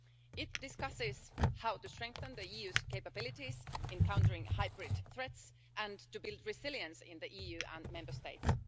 It discusses how to strengthen the EU's capabilities in countering hybrid threats and to build resilience in the EU and Member States.